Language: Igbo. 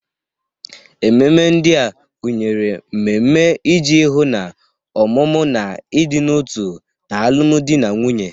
Ememe ndị a gụnyere mmemme iji hụ na ọmụmụ na ịdị n'otu n'alụmdi na nwunye.